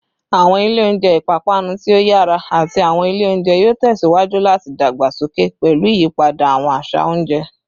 Awọn ilẹ ounjẹ ipapanu ti o yara ati awọn ile ounjẹ yoo tẹsiwaju lati dagbasoke pẹlu iyipada awọn aṣa ounjẹ